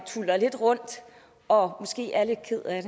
tuller lidt rundt og måske er lidt kede af